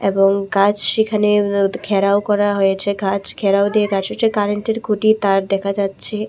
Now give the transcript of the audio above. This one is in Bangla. এবং গাছ সেখানে অ অ ঘেরাও করা হয়েছে গাছ ঘেরাও দিয়ে কারেন্টের খুটি তার দেখা যাচ্ছে।